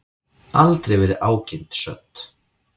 Aldrei verður ágirnd södd.